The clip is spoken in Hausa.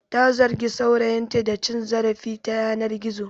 Ta zargi saurayinta da cin zarafi ta yanar gizo.